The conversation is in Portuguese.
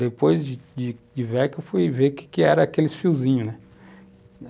Depois de de velho que eu fui ver o que que era aqueles fiozinhos, né?